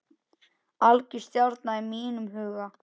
Algjör stjarna í mínum huga.